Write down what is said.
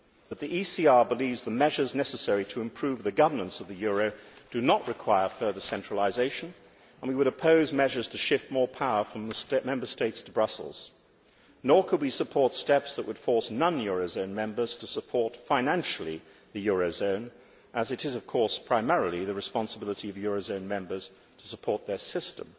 But the ECR believes the measures necessary to improve the governance of the euro do not require further centralisation and we would oppose measures to shift more power from the Member States to Brussels. Nor could we support steps that would force non eurozone members to support financially the eurozone, as it is, of course, primarily the responsibility of the eurozone members to support their system.